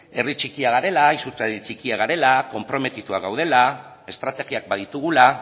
herri txikia garela konprometituak gaudela estrategiak baditugula